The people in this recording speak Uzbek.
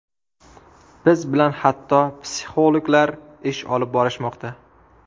Biz bilan hatto psixologlar ish olib borishmoqda”.